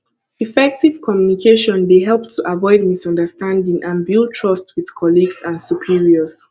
effective communication dey help to avoid misunderstanding and build trust with colleagues and superiors